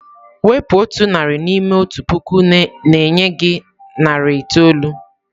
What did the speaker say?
Wepụ otu narị n'ime otu puku na-enye gị narị itoolu.